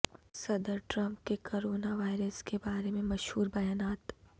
صدر ٹرمپ کے corona virus کے بارے میں مشہور بیانات